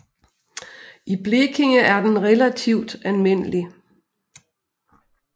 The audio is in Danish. I Blekinge er den relativt almindelig